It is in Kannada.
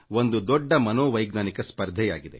ಇದು ಒಂದು ದೊಡ್ಡ ಮನೋವೈಜ್ಞಾನಿಕ ಹೋರಾಟವಾಗಿದೆ